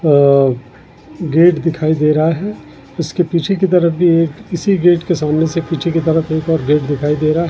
अअअ गेट दिखाई दे रहा है उसके पीछे की तरफ भी एक इसी गेट के सामने से पीछे की तरफ एक और गेट दिखाई दे रहा है।